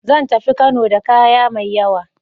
Zan tafi Kano da kaya mai yawa.